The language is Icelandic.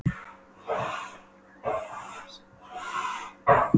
Japl-jaml-og-fuður tóku við þar sem frá var horfið.